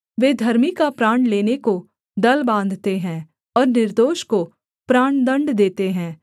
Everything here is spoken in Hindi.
वे धर्मी का प्राण लेने को दल बाँधते हैं और निर्दोष को प्राणदण्ड देते हैं